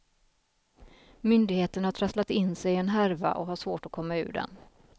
Myndigheterna har trasslat in sig i en härva och har svårt att komma ur den.